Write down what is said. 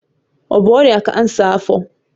Ọ bụ ọrịa kansa afọ